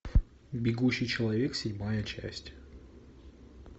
бегущий человек седьмая часть